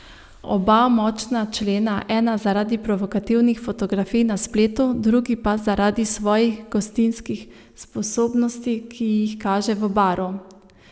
Oba močna člena, ena zaradi provokativnih fotografij na spletu, drugi pa zaradi svojih gostinskih sposobnosti, ki jih kaže v Baru.